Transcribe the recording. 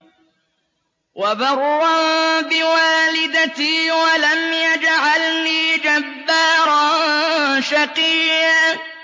وَبَرًّا بِوَالِدَتِي وَلَمْ يَجْعَلْنِي جَبَّارًا شَقِيًّا